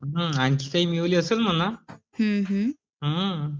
आणखी काही मिळवले असेल म्हणा